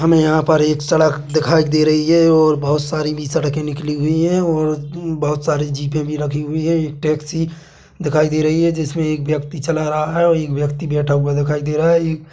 हमे यहाँ पर एक सड़क दिखाई दे रही है और बोहत सारी भी सड़के निकली हुई है और बोहत सारी जीपे भी रखी हुई है टैक्सी दिखाई दे रही है जिसमे एक व्यक्ति चला रहा है और एक व्यक्ति बैठा हुआ दिखाई दे रहा है।